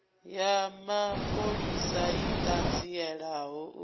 ya mapholisa i ṱanzielaho u